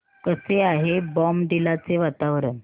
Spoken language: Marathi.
कसे आहे बॉमडिला चे वातावरण